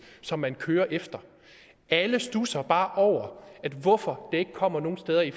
som man kører efter alle studser bare over hvorfor det ikke kommer nogen steder i